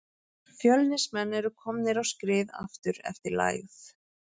Fjölnismenn eru komnir á skrið aftur eftir lægð.